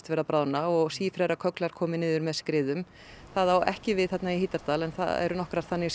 vera að bráðna og komið niður með skriðum það á ekki við í Hítardal en það eru nokkrar þannig